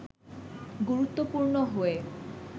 গুরুত্বপূর্ণ হয়ে